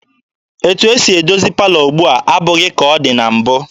Etu esi edozi palọ ugbua abụghị ka ọ dị na mbụ.